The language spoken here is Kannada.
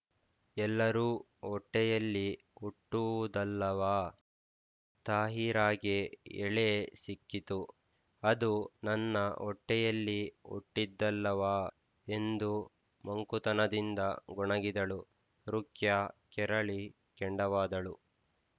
ಎಲ್ಲರೂ ಹೊಟ್ಟೆಯಲ್ಲೇ ಹುಟ್ಟುವುದಲ್ಲವಾ ತಾಹಿರಾಗೆ ಎಳೆ ಸಿಕ್ಕಿತು ಅದು ನನ್ನ ಹೊಟ್ಟೆಯಲ್ಲಿ ಹುಟ್ಟಿದ್ದಲ್ಲವಾ ಎಂದು ಮಂಕುತನದಿಂದ ಗೊಣಗಿದಳು ರುಖ್ಯಾ ಕೆರಳಿ ಕೆಂಡವಾದಳು